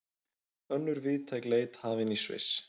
Önnur víðtæk leit hafin í Sviss